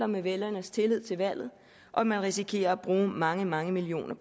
med vælgernes tillid til valget og man risikerer at bruge mange mange millioner